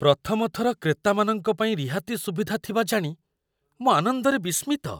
ପ୍ରଥମ ଥର କ୍ରେତାମାନଙ୍କ ପାଇଁ ରିହାତି ସୁବିଧା ଥିବା ଜାଣି ମୁଁ ଆନନ୍ଦରେ ବିସ୍ମିତ।